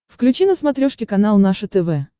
включи на смотрешке канал наше тв